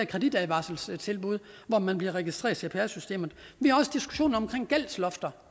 kreditadvarselstilbud hvor man bliver registreret i cpr systemet vi har også diskussionen omkring gældslofter